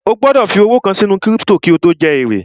O gbọ́dọ̀ fi iyẹ owó kàn sínú kírípítò jẹ èrè